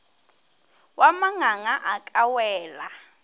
wa manganga a ka wela